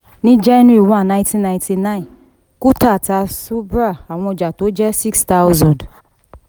ní january one nineteen ninety-nine kuntal ta subhra àwọn ọjà tó jẹ́ six thousand.